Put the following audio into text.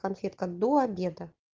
конфетка до обеда